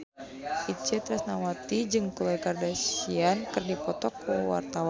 Itje Tresnawati jeung Khloe Kardashian keur dipoto ku wartawan